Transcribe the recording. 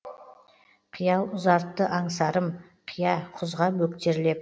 қиял ұзартты аңсарым қия құзға бөктерлеп